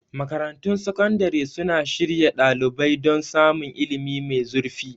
Makarantun Sakandare suna shirya ɗalibai don samun ilimi mai zurfi.